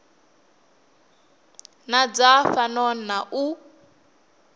na dza fhano na u